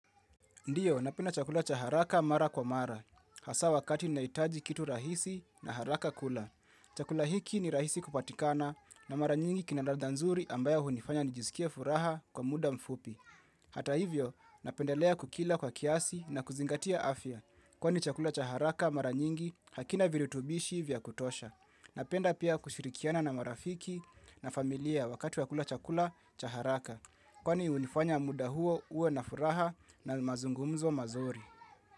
Ndiyo, napenda chakula cha haraka mara kwa mara. Hasa wakati nahitaji kitu rahisi na haraka kula. Chakula hiki ni rahisi kupatikana na mara nyingi kina ladha nzuri ambayo hunifanya nijiskie furaha kwa muda mfupi. Hata hivyo, napendelea kukila kwa kiasi na kuzingatia afya. Kwani chakula cha haraka mara nyingi hakina virutubishi vya kutosha. Napenda pia kushirikiana na marafiki na familia wakati wa kula chakula cha haraka. Kwani hunifanya muda huo uwe na furaha na mazungumzo mazuri.